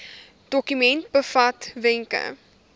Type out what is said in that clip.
dokument bevat wenke